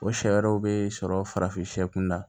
O sariyaw bɛ sɔrɔ farafin na